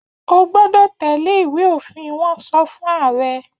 O gbọ́dọ̀ tẹ́lẹ̀ Ìwé-òfin! Wọ́n sọ fún ààrẹ.